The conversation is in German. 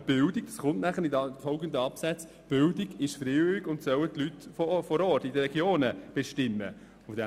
Aber Bildung – dies ist in den folgenden Absätzen erklärt – ist freiwillig und soll von den Personen vor Ort in den Regionen, bestimmt werden.